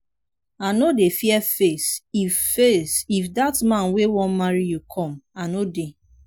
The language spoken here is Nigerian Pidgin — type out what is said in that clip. i no dey fear face if face if dat man wey wan marry you come i no dey.